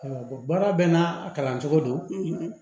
baara bɛɛ n'a kalan cogo don